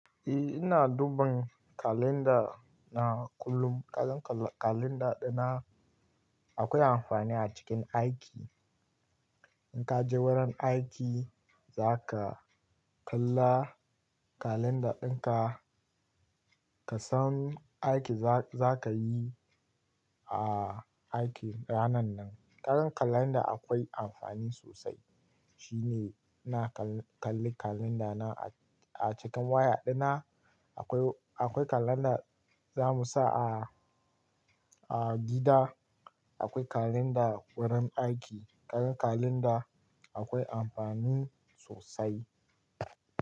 Eh ina duban kalanda na kullum. Kagan kalanda dina akwai amfani a cikin aiki. In ka je wurin aiki, za ka kalla kalanda din ka, ka san aiki za ka yi a aiki ranan nan. Karan kalanda akwai amfani sosai. Shi ne ina kallon kalanda na a cikin waya dina. Akwai, akwai kalanda za mu sa a, a gida. Akwai kalanda wurin aiki. Karan kalanda akwai amfani sosai.